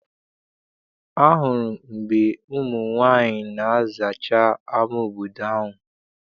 Ahụrụ m mgbe ụmụ nwaanyị na-azacha ama obodo ahụ.